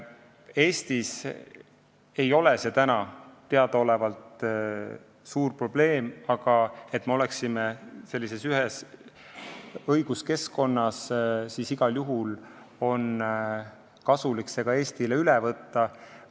Eestis ei ole see teadaolevalt suur probleem, aga et me oleksime ühes õiguskeskkonnas, on Eestile igal juhul kasulik see üle võtta.